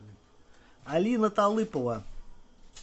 алина талыпова